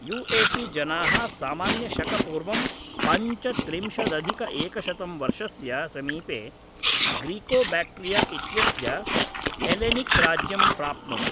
युएसीजनाः सामान्य शक पूर्वं पञ्चत्रिंशदधिकएकशतं वर्षस्य समीपे ग्रीकोबैक्ट्रिया इत्यस्य हेलेनिक्राज्यं प्राप्नुवन्